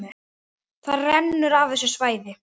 Það rennur af þessu svæði.